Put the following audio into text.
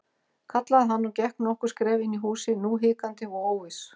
kallaði hann og gekk nokkur skref inn í húsið, nú hikandi og óviss.